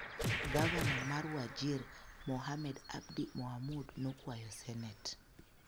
Gavana mar Wajir, Mohamed Abdi Mohamud, nokwayo Senet